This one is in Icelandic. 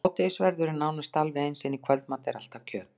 Hádegisverður er nánast alveg eins, en í kvöldmat er alltaf kjöt.